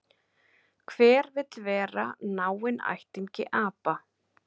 Hver vill vera náinn ættingi apa?